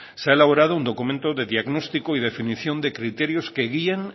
se ha elaborado un documento de diagnóstico y definición de criterios y que guían